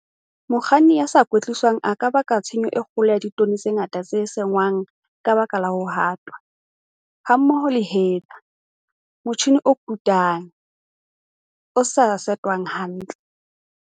Mokganni ya sa kwetliswang a ka baka tshenyo e kgolo ya ditone tse ngata tse senngwang ka baka la ho hatwa, hammoho le header, motjhine o kotulang, o sa setwang hantle.